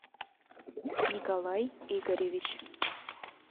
николай игоревич